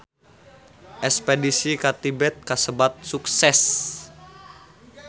Espedisi ka Tibet kasebat sukses